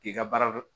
K'i ka baara